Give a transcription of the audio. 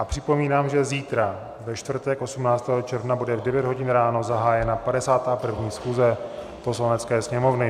A připomínám, že zítra, ve čtvrtek 18. června, bude v 9 hodin ráno zahájena 51. schůze Poslanecké sněmovny.